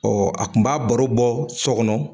a kun b'a baro bɔ so kɔnɔ.